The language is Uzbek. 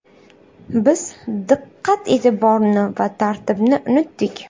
Biz diqqat-e’tiborni va tartibni unutdik.